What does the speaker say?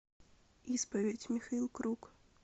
исповедь михаил круг